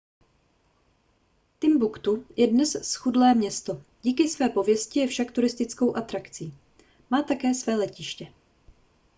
timbuktu je dnes zchudlé město díky své pověsti je však turistickou atrakci má také své letiště